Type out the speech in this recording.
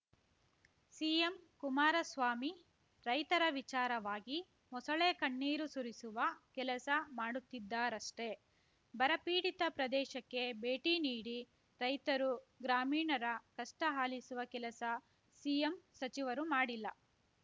CM Kumaraswamy ರೈತರ ವಿಚಾರವಾಗಿ ಮೊಸಳೆ ಕಣ್ಣೀರು ಸುರಿಸುವ ಕೆಲಸ ಮಾಡುತ್ತಿದ್ದಾರಷ್ಟೇ ಬರ ಪೀಡಿತ ಪ್ರದೇಶಕ್ಕೆ ಭೇಟಿ ನೀಡಿ ರೈತರು ಗ್ರಾಮೀಣರ ಕಷ್ಟಆಲಿಸುವ ಕೆಲಸ ಸಿಎಂ ಸಚಿವರು ಮಾಡಿಲ್ಲ